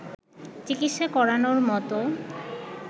চিকিৎসা করানোর মত